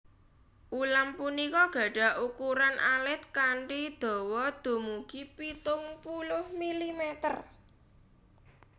Ulam punika gadhah ukuran alit kanthi dawa dumugi pitung puluh milimeter